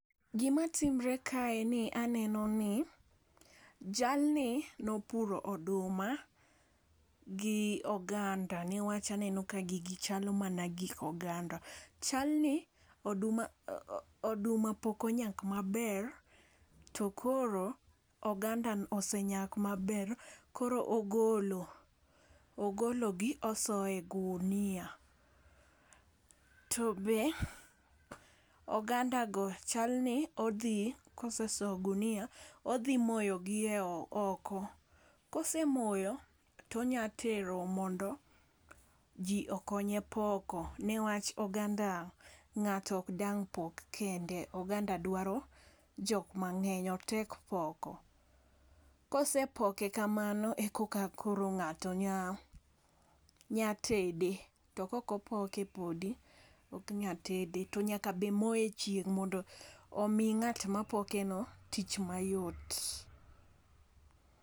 Gima timore kae, en ni, aneno ni, jalni nopuro oduma gi oganda. Ne wach aneno ka gigi chalo mana gik oganda. Chalni oduma oduma pok onyak maber, to koro oganda osenyak maber. Koro ogolo, ogologi, osoyo e ogunia. To be, oganda go chal ni odhi, kosesoyo gi ei ogunia, odhi moyo gi oko. Kosemoyo, tonya terogi mondo ji okonye poko. Ne wach, oganda ngáto ok dang' pok kende. Oganda dwaro jok mangény, otek poko. Kosepoke kamano ekoka koro ngáto nya, nyatede. To kok opoke podi, ok nya tede. To nyaka be moye e chieng' mondo omi ngát ma pokeno tich mayot.